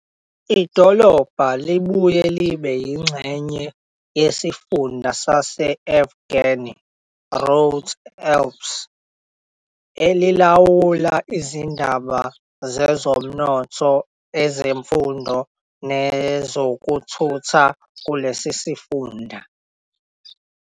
Idolobha libuye libe yingxenye yesifunda sase-Auvergne-Rhône-Alpes, elilawula izindaba zezomnotho, ezemfundo, nezokuthutha kulesi sifunda.